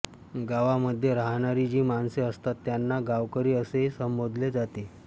गावामध्ये राहणारी जी माणसे असतात त्यांना गावकरी असेही संबोधले जाते